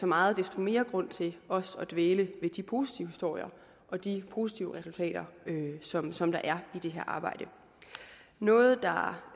meget desto mere grund til også at dvæle ved de positive historier og de positive resultater som som der er i det her arbejde noget der